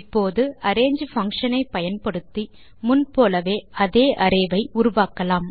இப்போது arange function ஐ பயன்படுத்தி முன் போலவே அதே அரே ஐ உருவாக்கலாம்